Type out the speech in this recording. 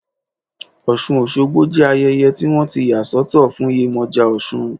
Osun osogbo jẹ́ ayẹyẹ tí wọ́n ti yà sọ́tọ̀ fún Yemoja osun.